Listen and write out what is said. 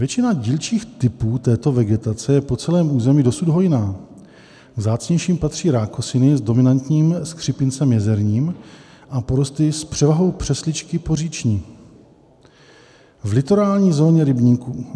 Většina dílčích typů této vegetace je po celém území dosud hojná, k vzácnějším patří rákosiny s dominantním skřípincem jezerním a porosty s převahou přesličky poříční v litorální zóně rybníků.